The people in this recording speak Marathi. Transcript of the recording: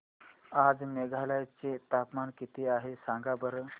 आज मेघालय चे तापमान किती आहे सांगा बरं